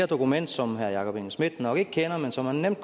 dokument som herre jakob engel schmidt nok ikke kender men som han nemt